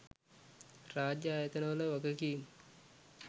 රාජ්‍ය ආයතන වල වගකීම්